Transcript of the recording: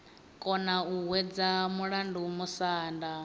kona u hwedza mulandu musanda